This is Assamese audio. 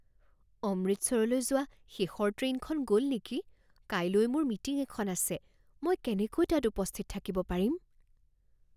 অমৃতসৰলৈ যোৱা শেষৰ ট্ৰেইনখন গ'ল নেকি? কাইলৈ মোৰ মিটিং এখন আছে, মই কেনেকৈ তাত উপস্থিত থাকিব পাৰিম?